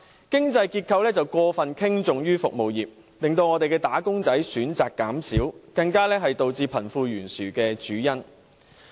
經濟結構過分傾重於服務業，令"打工仔"選擇減少，更是導致貧富懸殊的主因。